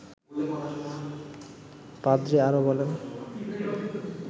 পাদ্রী আরও বলেন